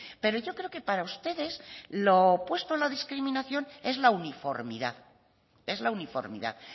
pero yo creo que para ustedes lo opuesto a la discriminación es la uniformidad es la uniformidad